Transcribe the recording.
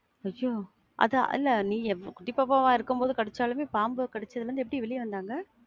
ஐயோ அது இல்ல. நீ குட்டி பாப்பாவா இருக்கும்போது கடிச்சாலுமே பாம்பு கடிச்சதிலிருந்து எப்படி வெளிய வந்தாங்க?